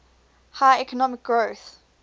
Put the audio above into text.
high economic growth